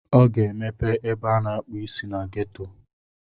Ọ ga-emepe ebe a na-akpụ isi na ghetto.